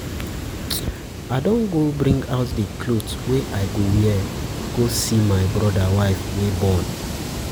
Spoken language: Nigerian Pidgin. I go bring out the cloth um wey I go wear go see my broda wife wey born.